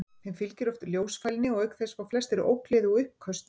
Þeim fylgir oft ljósfælni og auk þess fá flestir ógleði og uppköst.